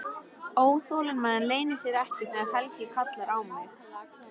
Óþolinmæðin leynir sér ekki þegar Helgi kallar á mig.